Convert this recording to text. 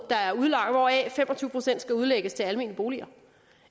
hvoraf fem og tyve procent skal udlægges til almene boliger